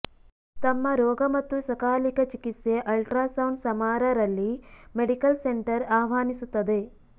ತಮ್ಮ ರೋಗ ಮತ್ತು ಸಕಾಲಿಕ ಚಿಕಿತ್ಸೆ ಅಲ್ಟ್ರಾಸೌಂಡ್ ಸಮಾರಾ ರಲ್ಲಿ ಮೆಡಿಕಲ್ ಸೆಂಟರ್ ಆಹ್ವಾನಿಸುತ್ತದೆ